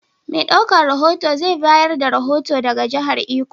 Mai ɗaukan rohoto zai bayar da rohoto daga jihar Iko.